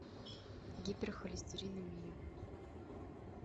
гиперхолестеринемия